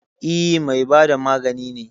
E, mai bada magani ne.